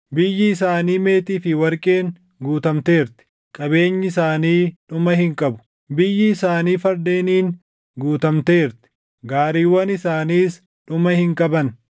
Biyyi isaanii meetii fi warqeen guutamteerti; qabeenyi isaanii dhuma hin qabu. Biyyi isaanii fardeeniin guutamteerti; gaariiwwan isaaniis dhuma hin qaban.